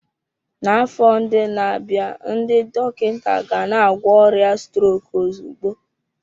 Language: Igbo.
N'afọ ndị na-abịa, ndị dọkịta gana-agwọ ọrịa strok ozugbo.